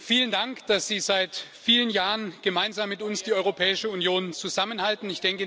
Vielen Dank, dass Sie seit vielen Jahren gemeinsam mit uns die Europäische Union zusammenhalten.